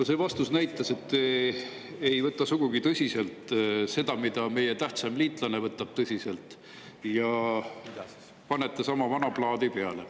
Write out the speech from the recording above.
No see vastus näitas, et te ei võta sugugi tõsiselt seda, mida meie tähtsaim liitlane võtab tõsiselt, ja panete sama vana plaadi peale.